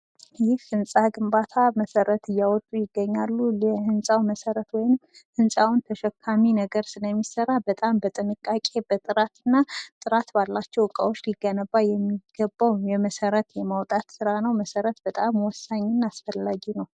ይህ ህንፃ ግንባታ መሰረት እያወጡ የህንፃው መሰረት ወይም ህንፃዉን ተሸካሚ ነገር ስለሚሰራ በጣም በጥንቃቄ በጣም በጥራት እና ጥራት ባላቸው እቃዎች ሊገነባ የሚገባ የመሰረት የማውጣት ሥራ ነው መሰረት በጣም ወሳኝ እማ አስፈላጊ ነው::